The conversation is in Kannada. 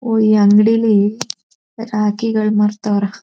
ಒಹ್ ಈ ಅಂಗಡಿಲಿ ರಾಖಿ ಗಳು ಮಾರ್ತಾವ್ರೆ.